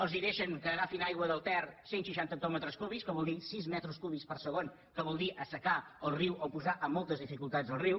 els deixen que agafin aigua del ter cent seixanta hectòmetres cúbics que vol dir sis metres cúbics per segon que vol dir assecar el riu o posar en moltes dificultats el riu